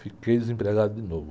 Fiquei desempregado de novo.